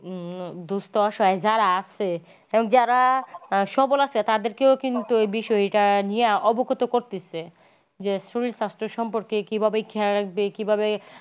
উম দুস্থ অসহআয় যারা আছে এবং যারা সবল আছে তাদেরকেও কিন্তু এ বিষয় টা নিয়ে অবগত করতেসে । যে শরীর সাস্থ্য সম্পর্কে কিভাবে খেয়াল রাখবে কিভাবে?